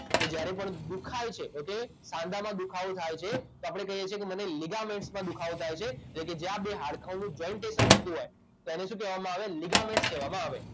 કે જ્યારે પણ દુખાય છે એટલે સાંધામાં દુખાવો થાય છે તો આપણે કહીએ છીએ કે મને લિગામેન્ટસમાં દુખાવો થાય છે એટલે જ્યાં બે હાડકાંઓનું જોઇન્ટેશન થતું હોય તો એને શું કહેવામાં આવે લિગામેન્ટ કહેવામાં આવે